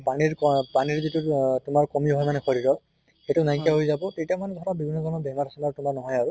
পানীৰ পা পানীৰ যিটো অহ কমি হোৱা মানে শৰীৰৰ, সেইটো নাইকিয়া হৈ যাব। তেতিয়া মানে ধৰা বভন্ন ধৰণৰ বেমাৰ চেমাৰ তোমাৰ নহয় আৰু।